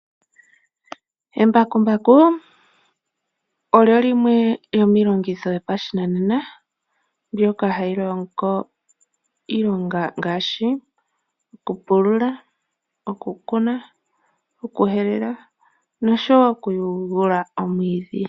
Embakumbaku olyo limwe lyomiilongitho yopashinanena ndoka hali longo iilonga ngaashi, okupulula, okukuna, okuhelela nosho wo okuyugula omwiidhi.